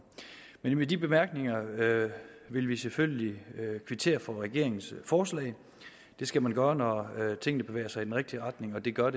med de bemærkninger vil vi selvfølgelig kvittere for regeringens forslag det skal man gøre når tingene bevæger sig i den rigtige retning og det gør